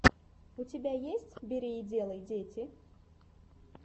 у тебя есть бери и делай дети